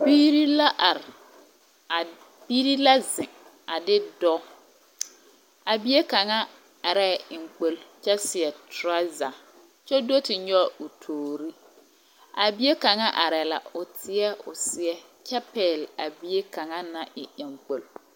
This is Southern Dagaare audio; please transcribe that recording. Biiri la are, a. Biiri la zeŋ a de dɔɔ. a bie kaŋa arɛɛ eŋkpol kyɛ seɛ torɔza kyɛ do te nyɔge o toori. A bie kaŋa arɛɛ la. O teɛ o seɛ kyɛ pɛgle a bie kaŋa naŋ e eŋkpol